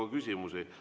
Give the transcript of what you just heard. Aga teile on küsimusi.